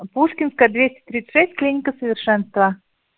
пушкинская двести тридцать шесть клиника совершенство